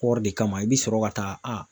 Kɔɔri de kama i bɛ sɔrɔ ka taa a